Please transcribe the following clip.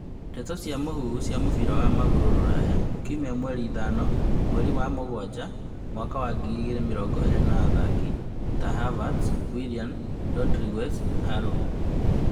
Ndeto cia mũhuhu cia mũbira wa magũrũ Rũraya kiumia mweri ithano mweri wa mũgwanja mwaka wa ngiri igĩrĩ mĩrongo ĩrĩ athaki ta Havertz, William, Rodriguez Horbjerg, Aarons